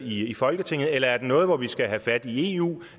i folketinget eller er det noget hvor vi skal have fat i eu